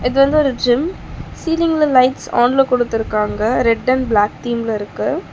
இது வந்து ஒரு ஜிம் சீலிங்க்ல லைட்ஸ் ஆன்ல குடுத்துருக்காங்க ரெட் அண்ட் ப்ளாக் தீம்ல இருக்கு .